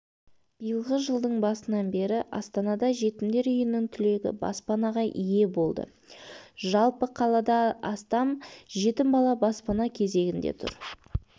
биылғы жылдың басынан бері астанада жетімдер үйінің түлегі баспанаға ие болды жалпы қалада астам жетім бала баспана кезегінде тұр